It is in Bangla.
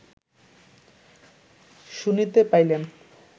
শুনিতে পাইলেন